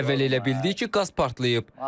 Əvvəl elə bildik ki, qaz partlayıb.